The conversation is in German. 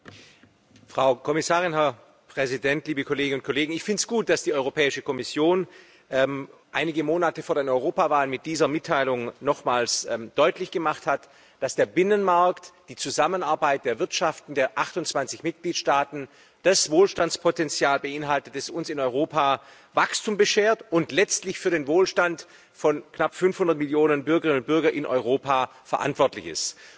Herr Präsident, Frau Kommissarin, liebe Kolleginnen und Kollegen! Ich finde es gut, dass die Kommission einige Monate vor den Europawahlen mit dieser Mitteilung nochmals deutlich gemacht hat, dass der Binnenmarkt und die Zusammenarbeit der Volkswirtschaften der 28 Mitgliedstaaten das Wohlstandspotenzial beinhalten, das uns in Europa Wachstum beschert und letztlich für den Wohlstand von knapp 500 Millionen Bürgerinnen und Bürgern in Europa verantwortlich ist.